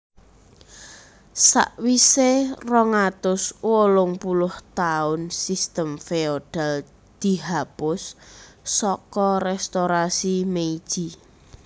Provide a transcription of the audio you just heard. Sawise rong atus wolung puluh taun sistem feodal dihapus saka Restorasi Meiji